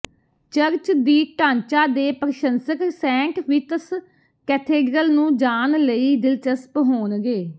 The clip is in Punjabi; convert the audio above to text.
ਚਰਚ ਦੀ ਢਾਂਚਾ ਦੇ ਪ੍ਰਸ਼ੰਸਕ ਸੈਂਟ ਵਿਤਸ ਕੈਥੇਡ੍ਰਲ ਨੂੰ ਜਾਣ ਲਈ ਦਿਲਚਸਪ ਹੋਣਗੇ